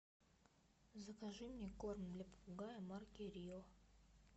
закажи мне корм для попугая марки рио